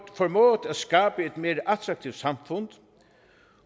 mere attraktivt samfund